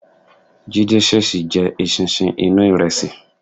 Jídé ṣèṣì jẹ eṣinṣin inú ìrẹsì.